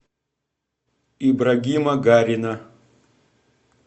ибрагима гарина